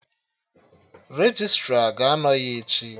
Registra ga-anọ ya echi